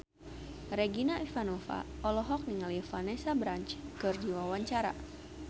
Regina Ivanova olohok ningali Vanessa Branch keur diwawancara